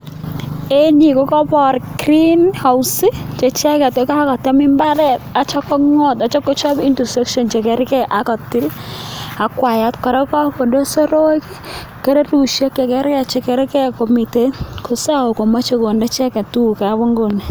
Eng yu kokapor green house che icheket kotamii imbaaret atyo kongot, atyo kochop into section chekarkei atyo kotil ak wayat kora, pakonde soroek kerepushek chekarkei chekarkei komiten kisao chemache konde icheket tugukab inguni.